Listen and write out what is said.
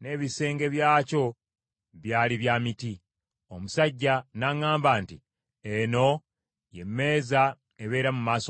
n’ebisenge byakyo byali bya miti. Omusajja n’aŋŋamba nti, “Eno ye mmeeza ebeera mu maaso ga Mukama .”